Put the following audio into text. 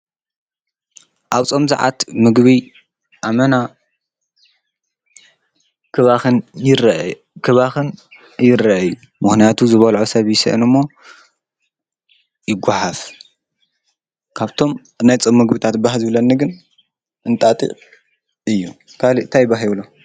ኣብጾም ዝዓቱ ምግቢ ኣመና ክባኽን ይረአክባኽን ይረአዩ ምሕንያቱ ዝበልዖ ሰብ ይስአን እሞ ይጐሓፍ ካብቶም እናይጾም መግቢታት ባህ ዝብለኒ ግን እንጣጢዕ እዩ ።ካልእታይባሂብሎ?